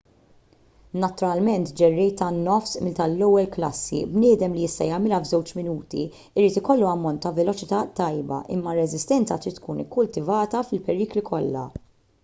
naturalment ġerrej tan-nofs mil tal-ewwel klassi bniedem li jista' jagħmilha f'żewġ minuti irid jkollu ammont ta' veloċità tajba imma r-reżistenza trid tkun ikkultivata fil-perikli kollha